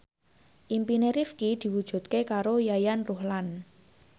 impine Rifqi diwujudke karo Yayan Ruhlan